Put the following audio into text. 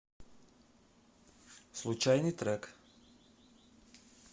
случайный трек